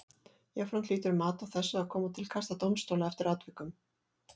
Jafnframt hlýtur mat á þessu að koma til kasta dómstóla eftir atvikum.